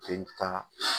K'i ta